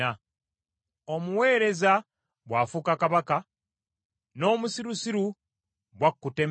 omuweereza bw’afuuka kabaka, n’omusirusiru bw’akutta emmere;